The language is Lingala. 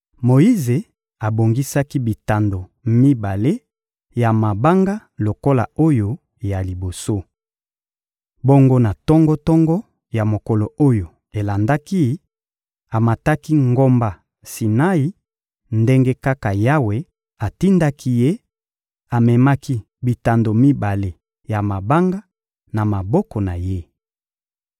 Moyize abongisaki bitando mibale ya mabanga lokola oyo ya liboso. Bongo na tongo-tongo ya mokolo oyo elandaki, amataki ngomba Sinai ndenge kaka Yawe atindaki ye; amemaki bitando mibale ya mabanga, na maboko na ye.